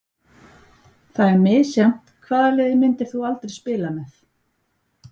Það er misjafnt Hvaða liði myndir þú aldrei spila með?